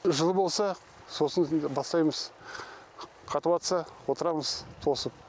жылы болса сосын бастаймыз қатып жатса отырамыз тосып